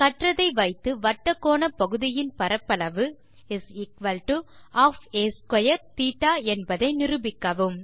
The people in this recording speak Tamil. கற்றதை வைத்து வட்டக்கோணப்பகுதியின் பரப்பளவு ½ a2 θ என்பதை நிரூபிக்கவும்